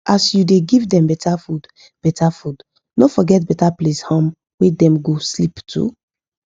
as u da give them better food better food no forget better place um wa dem go sleep too